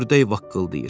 Ördək vaqqıldayır.